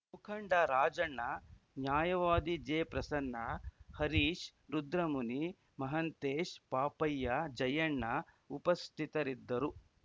ಮುಖಂಡ ರಾಜಣ್ಣ ನ್ಯಾಯವಾದಿ ಜೆಪ್ರಸನ್ನ ಹರೀಶ್‌ ರುದ್ರಮುನಿ ಮಹಾಂತೇಶ್‌ ಪಾಪಯ್ಯ ಜಯಣ್ಣ ಉಪಸ್ಥಿತರಿದ್ದರು